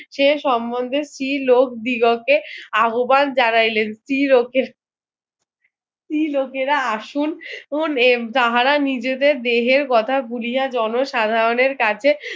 সে সমন্ধে স্ত্রীলোক দিগকে আহব্বান জানাইলেন স্ত্রীলোকের স্ত্রীলোকেরা আসুন তাহারা নিজেদের দেহের কথা গুলিয়ে জন সাধারণের কাছে